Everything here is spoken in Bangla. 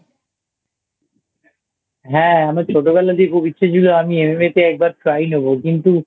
হ্যাঁ আমার ছোটবেলা তে খুব ইচ্ছা ছিল আমি MMA তে একবার Try নেবো কিন্তু